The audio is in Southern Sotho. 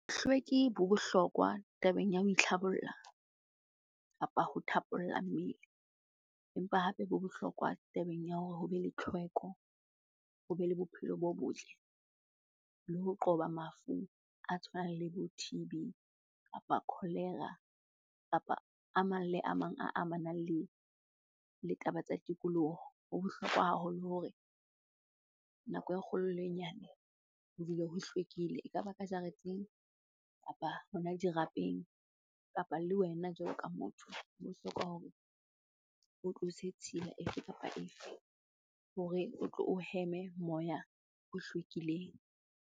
Bohlweki bo bohlokwa tabeng ya ho itlhabolla kapa ho thapolla mmele. Empa hape bo bohlokwa tabeng ya hore hobe le tlhweko, hobe le bophelo bo botle le ho qoba mafu a tshwanang le bo T_B, kapa cholera kapa a mang le a mang a amanang le taba tsa tikoloho. Ho bohlokwa haholo hore nako e kgolo le e nyane ho dule ho hlwekile ekaba ka jareteng, kapa hona dirapeng. Kapa le wena jwalo ka motho, ho bohlokwa hore o tlose tshila efe kapa efe hore o tlo o heme moya o hlwekileng.